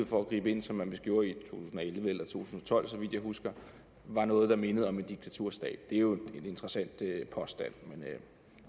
for at gribe ind som man vist gjorde i og tolv så vidt jeg husker var noget der mindede om en diktaturstat det er jo en interessant påstand men